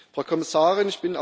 Frau Kommissarin!